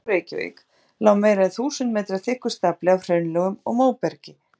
Yfir Sundunum og Reykjavík lá meira en þúsund metra þykkur stafli af hraunlögum og móbergi.